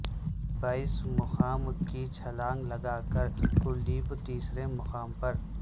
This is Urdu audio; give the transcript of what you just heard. بیس مقام کی چھلانگ لگا کر کلدیپ تیسرے مقام پر